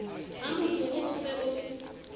ha mokuru o se o